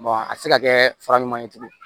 a tɛ se ka kɛ fara ɲuman ye tugun